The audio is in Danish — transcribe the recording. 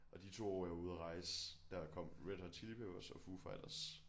Og de 2 år jeg var ude at rejse der kom Red Hot Chili Peppers og Foo Fighters